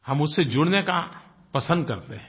हम उससे जुड़ने का पसंद करते हैं